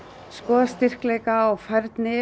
skoða styrkleika og færni